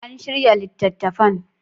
An shirya littattafan.